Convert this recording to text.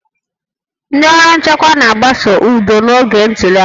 Ndị ọrụ nchekwa na-agbaso udo n'oge ntuli aka